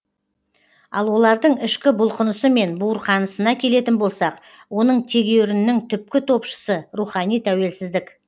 ал олардың ішкі бұлқынысы мен буырқанысына келетін болсақ оның тегеурінінің түпкі топшысы рухани тәуелсіздік